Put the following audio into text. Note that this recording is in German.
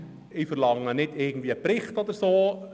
Fazit: Ich verlange nicht einen Bericht oder etwas Ähnliches.